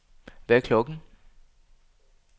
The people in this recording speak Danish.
Hvad er klokken